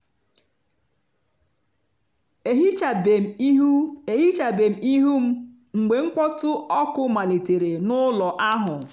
ehichabem ihu ehichabem ihu m mgbe mkpọtụ ọkụ malitere n'ụlọ ahụ